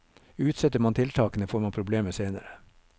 Utsetter man tiltakene, får man problemer senere.